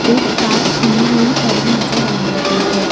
एक कार खुली हुई पड़ी नजर आ रही है।